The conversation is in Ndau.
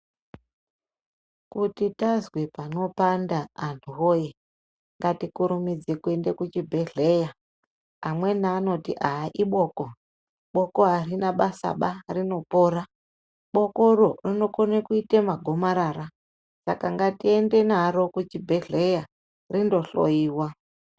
Kuti tazwe panopanda antu woye ngatikurumidze kuenda kuzvibhedhlera amweni anoti a iboko bomo arina basa ba rinopora boko ronrinokoma kuita magomarara ngatiende naro kuchibhedhlera rindohloiwa.